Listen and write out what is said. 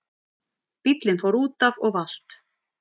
Bíllinn fór útaf og valt